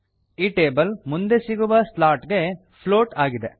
ಈ ಟೇಬಲ್ ಮುಂದೆ ಸಿಗುವ ಸ್ಲಾಟ್ ಗೆ ಫ್ಲೋಟ್ ಆಗಿದೆ